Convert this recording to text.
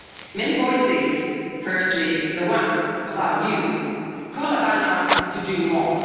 Many voices firstly, the one of our youth call upon us to do more.